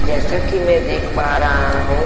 जैसाकि मैं देख पा रहा हूँ --